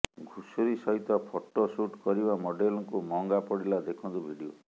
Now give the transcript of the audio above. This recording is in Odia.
ଘୁଷୁରୀ ସହିତ ଫଟୋ ସୁଟ କରିବା ମଡେଲଙ୍କୁ ମହଙ୍ଗା ପଡ଼ିଲା ଦେଖନ୍ତୁ ଭିଡିଓ